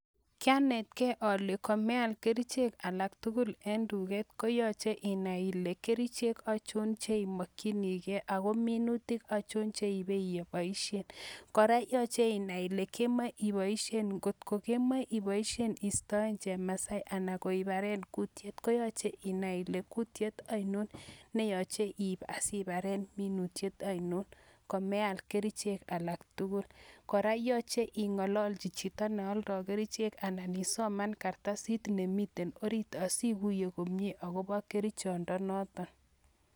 Kyanetkei ale komeal kerichek alak tugul en nduket koyoche inai ile kerichen achon cheimokchinigei ago minutik achon cheiibe iboisien. Kora yoche inai ile kimoe iboisien, ngotko kemoe iboisien iistoen chemasai anan ko ibaren kutiet koyoche inai ile kutiet ainon neyoche iib asibaren minutiet ainon komeal kerichek alak tugul. Kora yoche ing'ololchi chito nealdoi kerichek anan isoman kartasit nemiten orit asiguiye komyen akobo kerichondo noton.